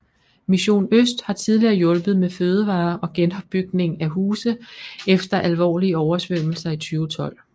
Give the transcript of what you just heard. Mission Øst har tidligere hjulpet med fødevarer og genopbygning af huse efter alvorlige oversvømmelser i 2012